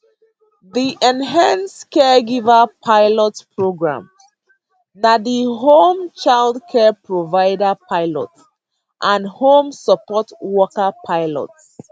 di enhanced caregiver pilot prgrams na di home child care provider pilot and home support worker pilot